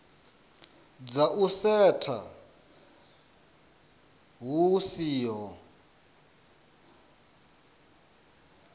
dza u setsha hu siho